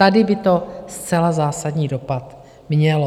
Tady by to zcela zásadní dopad mělo.